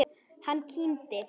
Hann kímdi.